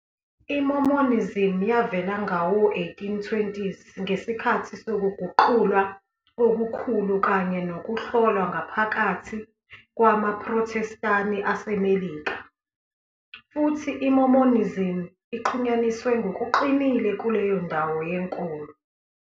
I-Mormonism yavela ngawo-1820s ngesikhathi sokuguqulwa okukhulu kanye nokuhlolwa ngaphakathi kwamaProthestani aseMelika, futhi iMormonism ixhunyaniswe ngokuqinile kuleyo ndawo yenkolo.